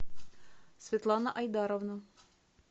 светлана айдаровна